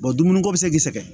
dumuni ko bi se k'i sɛgɛn